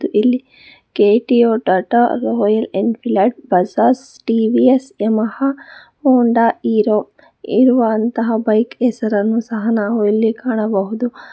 ಇಲ್ಲಿ ಕೆ_ಟಿ ಯೋ Tata Royal Enfield Tata Bajaj TVS Yamaha Honda Hero ಇರುವಂತಹ ಬೈಕ್ ಹೆಸರನ್ನು ಸಹ ನಾವು ಇಲ್ಲಿ ಕಾಣಬಹುದು.